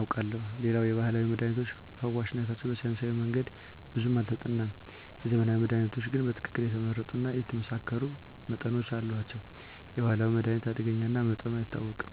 አውቃለሁ። ሌላው የባህላዊ መድሃኒቶች ፈዋሽነታቸው በሳይንሳዊ መንገድ ብዙም አልተጠናም። የዘመናዊ መድሃኒቶች ግን በትክክል የተመረጡ እና የተመሳከሩ መጠኖች አሏቸው። የባህላዊ መድሃኒት አደገኛ እና መጠኑ አይታወቅም።